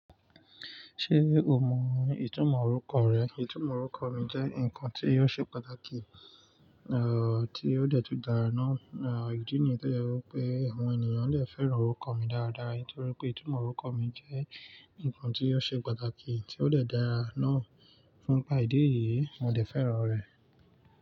Ṣé o mọ ìtumọ̀ orúkọ rẹ? Ìtumọ̀ orúkọ mi jẹ́ ǹkan tí o ṣe pàtàkì, tí o dẹ̀ tun dára ná. Ìdí nìyí tó jẹ wí pé, àwọn ènìyàn lè fẹ́ràn orúkọ mi dáradára nítorí pé ìtumọ̀ orúkọ mi jẹ́ ǹkan tí yóò ṣe pàtàkì tí o dẹ̀ dára ná. Fún gba ìdí èyí, mo dẹ̀ fẹ́ràn rẹ̀.